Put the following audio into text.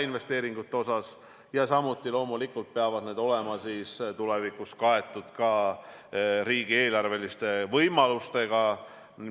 Samuti peavad need loomulikult olema tulevikus kaetud riigieelarveliste võimalustega.